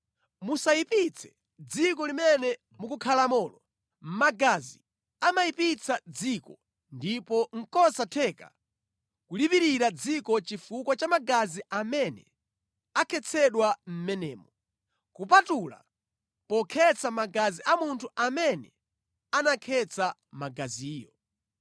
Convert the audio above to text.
“ ‘Musayipitse dziko limene mukukhalamolo. Magazi amayipitsa dziko ndipo nʼkosatheka kulipirira dziko chifukwa cha magazi amene akhetsedwa mʼmenemo, kupatula pokhetsa magazi a munthu amene anakhetsa magaziyo.